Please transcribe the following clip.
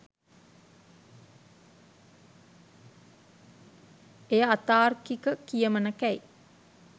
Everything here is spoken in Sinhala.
එය අතාර්කික කියමනකැයි